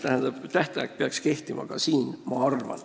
Ma arvan, et tähtaeg peaks ka siin kehtima.